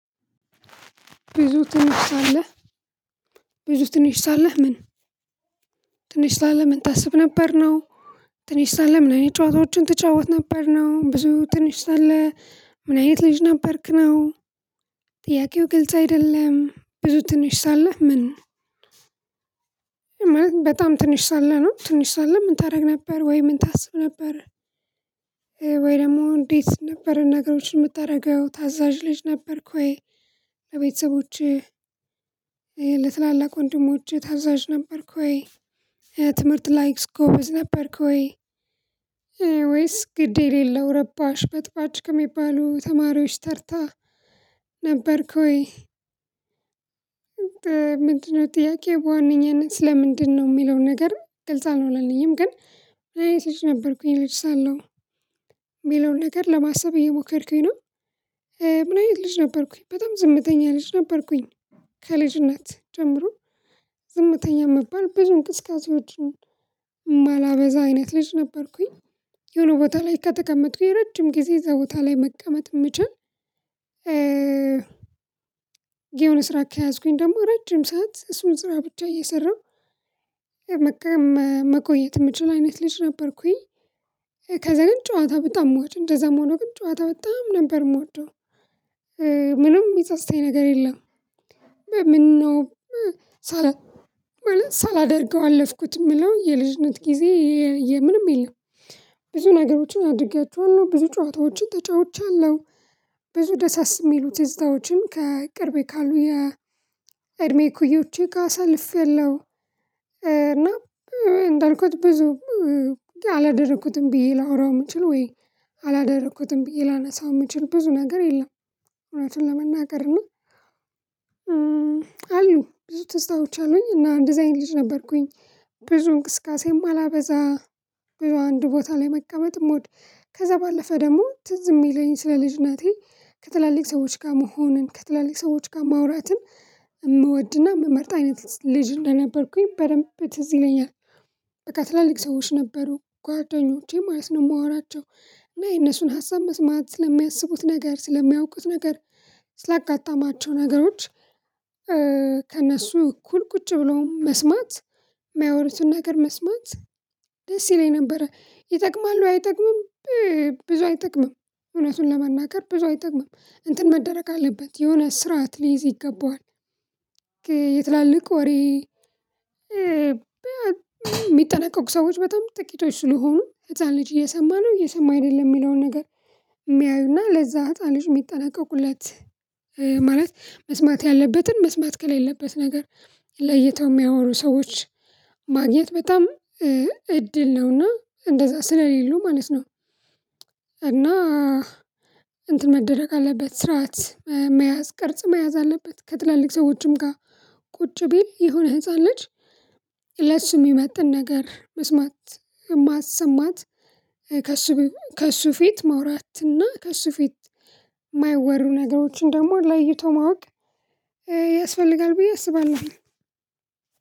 ብዙ ትንሽ ሳለህ ብዙ ትንሽ ሳለህ ምን ትንሽ ሳለህ ምን ታስብ ነበር ነው ትንሽ ሳለህ ምን አይነት ጨዋታዎችን ትጫወት ነበር ነው? ብዙ ትንሽ ላለ ምን አይነት ልጅ ነበርክ ነው? ጥያቄው ግልጽ አይደለም። ብዙ ትንሽ ሳለህ ምን ማለት በጣም ትንሽ ሳለህ ነው? ትንሽ ሳለህ ምን ታደርግ ነበር ወይ ምን ታስብ ነበር? ወይ ደግሞ እንዴት ነበር ነገሮችን የምታደርገው ታዛዥ ልጅ ነበርኩ። ወይ ቤተሰቦቼ ለትላልቅ ወንድሞቼ ታዛዥ ነበርኩ ወይ? ትምህርት ላይስ ጎበዝ ነበርክ ወይ? ወይስ ግድ የሌለው ረባሽ በጥባጭ ከሚባሉ ተማሪዎች ተርታ ነበርክ ወይ? ምንድነው ጥያቄ በዋነኛነት ለምንድነው የሚለውን ነገር ግልጽ አልሆነልኝም። ግን አይነት ልጅ ነበርኩኝ ልጅ ሳለሁ የሚለውን ነገር ለማሰብ እየሞከርኩኝ ነው። ምን አይነት ልጅ ነበርኩኝ በጣም ዝምተኛ ልጅ ነበርኩኝ። ከልጅ ነት ጀምሮ ዝምተኛ ምባል ብዙ እንቅስቃሴዎችን ማላበዛ አይነት ልጅ ነበርኩኝ። የሆነ ቦታ ላይ ከተቀመጥኩኝ ረጅም ጊዜ እዛ ቦታ ላይ መቀመጥ የምችል የሆነ ስራ ከያዝኩኝ ደግሞ ረጅም ሰዓት እሱን ስራ ብቻ እየሰራሁ መቆየት ምችል አይነት ልጅ ነበርኩኝ። ከዛ ግን ጨዋታ በጣም ምወደው እንደዛም ሆኖ ግን ጨዋታ በጣም ነበር የምወደው። ምንም የሚጸጽተኝ ነገር የለም። ለምነው ሳላደርገው አለፍኩት የምለው የልጅነት ጊዜ የምንም የለም። ብዙ ነገሮችን አድርጊያችኋለሁ ብዙ ጨዋታዎችን ተጫውቻለሁ። ብዙ ደሳስ የሚሉት ትዝታዎችም ከቅርቤ ካሉ የ እድሜ እኩዮቼ ጋር አሳልፌያለሁ። እና እንዳልኩት ብዙም አላደረኩትም ብዬ ላወራው የምንችለው ወይ አላደረኩትም ብዬ ላነሳው የምንችል ብዙ ነገር የለም። እውነቱን ለመናገር ነው። አሉ ብዙ ትዝታዎች አለኝ እና እንደዛ አይነት ልጅ ነበርኩኝ። ብዙ እንቅስቃሴም የማላበዛ በአንድ ቦታ ላይ መቀመጥ ምወድ ከዛ ባለፈ ደግሞ ትዝ የሚለኝ ስለ ልጅነቴ ከትላልቅ ሰዎች ጋር መሆንን ከትላልቅ ሰዎች ጋር ማውራትን የምወድና የምመርጥ አይነት ልጅ እንደነበርኩኝ በደንብ ትዝ ይለኛል። በቃ ትላልቅ ሰዎች ነበሩ ጓደኞቼ ማለት ነው የማወራቸው። እና የእነሱን ሀሳብ መስማት ስለሚያስቡት ነገር ስለሚያውቁት ነገር ስላጋጠማቸው ነገሮች። ከእነሱ እኩል ቁጭ ብሎ መስማት የሚያወሩትን ነገር መስማት ደስ ይለኝ ነበረ ይጠቅማሉ አይጠቅምም። ብዙ አይጠቅምም እውነቱን ለመናገር ብዙ አይጠቅምም። እንትን መደረግ አለበት የሆነ ስርዓት ሊይዝ ይገባዋል። የትላልቅ ወሬ የሚጠነቀቁ ሰዎች በጣም ጥቂቶች ስለሆኑ ህፃን ልጅ እየሰማን ነው እየሰማ አይደለም የሚለውን ነገር። የሚያዩና ለዛ ህፃን ልጅ የሚጠናቀቁለት። ማለት መስማት ያለበትን መስማት ከሌለበት ነገር ለይተው የሚያወሩ ሰዎች ማግኘት በጣም እድል ነውና እንደዛ ስለሌለው ማለት ነው። እና እንትን መደረግ አለበት ስርዓት መያዝ ቅርጽ መያዝ አለበት። ከትላልቅ ሰዎችም ጋር ቁጭ ቢል የሆነ ህፃን ልጅ ለሱ የሚመጥን ነገር መስማት ማሰማት ከሱ ከእሱ ፊት መውራት እና ከእሱ ፊት የማይወሩ ነገሮችን ደግሞ ለይቶ ማወቅ። ያስፈልጋል ብዬ አስባለሁ።